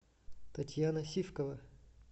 татьяна сивкова